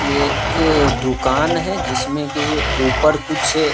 ये एक अ दुकान है जिसमे की ऊपर कुछ अ ---